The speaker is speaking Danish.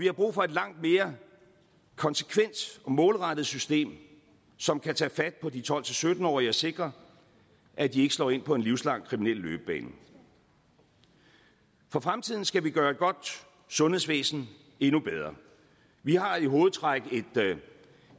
er brug for et langt mere konsekvent og målrettet system som kan tage fat på de tolv til sytten årige og sikre at de ikke slår ind på en livslang kriminel løbebane for fremtiden skal vi gøre et godt sundhedsvæsen endnu bedre vi har i hovedtræk et